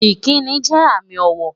Ìkíni jẹ́ àmì ọ̀wọ̀